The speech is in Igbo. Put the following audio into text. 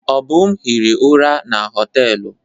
Obum hiri ụra na họtelụ ahụ.